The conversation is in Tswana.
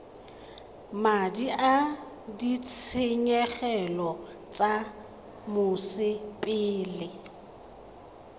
madi a ditshenyegelo tsa mosepele